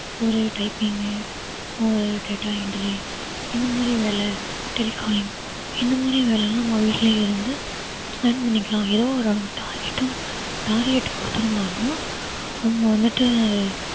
ஒரு typing ஒரு data entry இந்தமாறி வேலை telecalling இந்தமாறி வேலைலாம் நம்ம வீட்டிலிருந்து plan பண்ணிக்கிலாம் எதோ target உம் target குடுத்துருந்தாலும் அவங்க வந்துட்டு